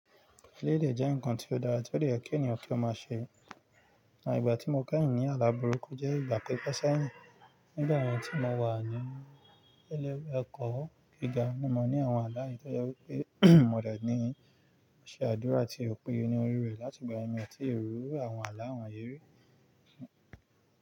Lélè jẹ́ ǹkan tí ó dára, ti ó dẹ̀ yẹ kí ènìyàn ki o máa ṣe. Àtìgbà tí mo kẹ́hìn ní alábùrúkú jẹ́ ìgbà pípẹ́ sáànyàn. Nígbà tí mo wà ní ilé ẹ̀kọ́ gíga, mo ní àwọn alá yẹn wípé mo rẹ̀ ni ṣe àdúrà ti òpin onírúurú láti ìgbà mì tí ri iru àwọn aláǹyérí.